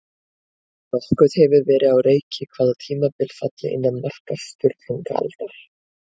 Nokkuð hefur verið á reiki hvaða tímabil falli innan marka Sturlungaaldar.